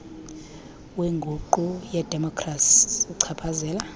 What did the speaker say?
wenguqu yedemokhrasi uchaphazela